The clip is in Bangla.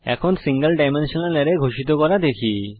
এখন সিঙ্গল ডাইমেনশনাল আরায় ঘোষিত করা দেখি